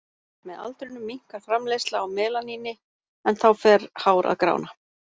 Með aldrinum minnkar framleiðsla á melaníni en þá fer hár að grána.